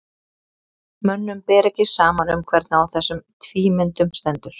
Mönnum ber ekki saman um hvernig á þessum tvímyndum stendur.